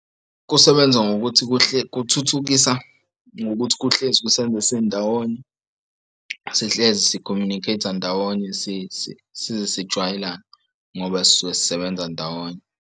Kusebenza ngokuthi kuhle kuthuthukisa ngokuthi kuhlezi kusenza sindawonye, sihlezi si-communicate-a ndawonye size sijwayelane ngoba sisuke sisebenza ndawonye.